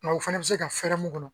Nka o fana bɛ se ka fɛrɛ mun kɔnɔ.